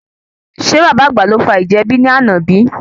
Ṣe bàbá àgbà ló fa ìjà ẹbí ní àna bíi?